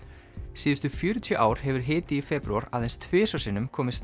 síðustu fjörutíu ár hefur hiti í febrúar aðeins tvisvar sinnum komist